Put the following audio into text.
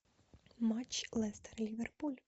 матч лестер ливерпуль